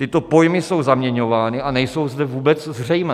Tyto pojmy jsou zaměňovány a nejsou zde vůbec zřejmé.